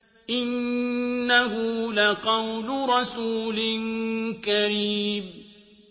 إِنَّهُ لَقَوْلُ رَسُولٍ كَرِيمٍ